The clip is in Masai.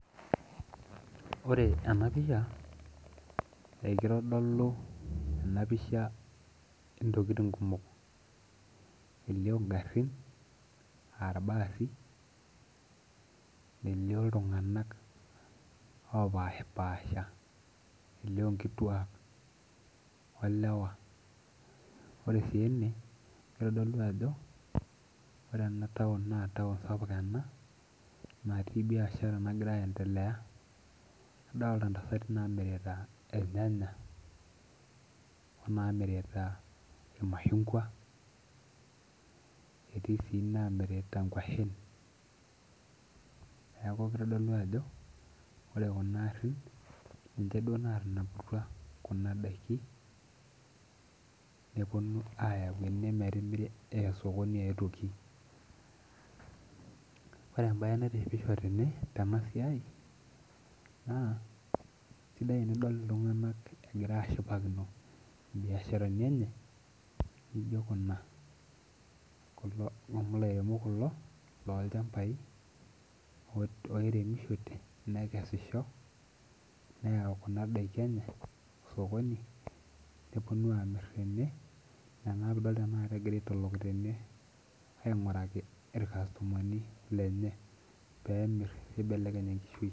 Ore ena pisha ekitodolu ena pisha ntokiting kumok ,elio ngarin aa irbaasi ,elio iltunganak loopashipaasha elio nkiituak olewa ore sii ene kitodolu ajo ore ena naa taon sapuk ena natii biashara nagira aendelea adolita ntasati namirita irnyanya onaamirita irmashungua etii sii namirita nkwashen ,neeku kitodolu ajo ore kuna garin ninche duo naatanaputua kuna daikin neyau ene metimiri aa sokoni eetuoki. ore entoki naitishipisho teneweji naa keisidai tinidol iltungank egira ashipakino biasharani enye naijo Kuna amu lairemok kulo loolchampai oremishote neyau kuna daiki enye sokoni neponu amir tene ina naa pee idolita egira aitook tene ainguraki irkastomani lenye pee emir neibelekeny enkishui.